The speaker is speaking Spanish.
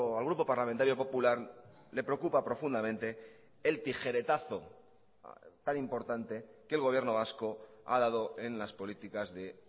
al grupo parlamentario popular le preocupa profundamente el tijeretazo tan importante que el gobierno vasco ha dado en las políticas de